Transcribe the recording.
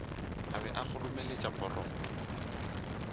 a be a kgoromeletša poroto